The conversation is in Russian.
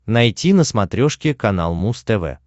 найти на смотрешке канал муз тв